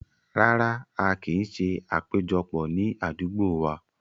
Rárá, a kin ṣé àpéjọpọ̀ ni àdúgbò wá.